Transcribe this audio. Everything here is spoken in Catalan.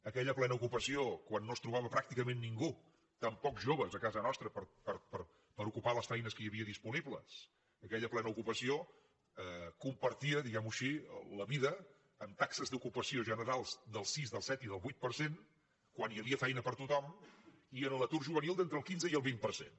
aquella plena ocupació quan no es trobava pràcticament ningú tampoc joves a casa nostra per ocupar les feines que hi havia disponibles aquella plena ocupació compartia diguem ho així la vida amb taxes d’ocupació generals del sis del set i del vuit per cent quan hi havia feina per a tothom i en l’atur juvenil d’entre el quinze i el vint per cent